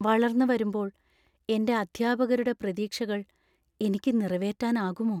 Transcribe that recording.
വളർന്നുവരുമ്പോൾ, എന്‍റെ അധ്യാപകരുടെ പ്രതീക്ഷകൾ എനിക്ക് നിറവേറ്റാനാകുമോ?